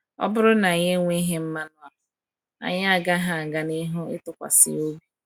Ọ bụrụ na anyị enweghị mmanụ a, anyị agaghị aga n’ihu ịtụkwasị ya obi.